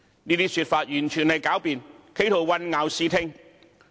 這些說法完全是狡辯，企圖混淆視聽。